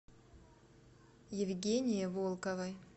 евгении волковой